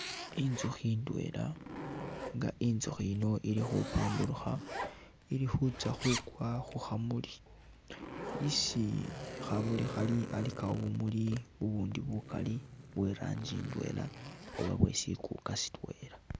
Intsukhi indwela nga intsukhi ino ili khupambutukha ili khutsa khukwa khukha muli isi khamuli khali alikawo bumuli bundi bukali bwe ranji indwela oba bwe sikuka sitwela.